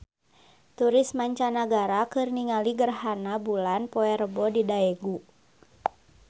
Turis mancanagara keur ningali gerhana bulan poe Rebo di Daegu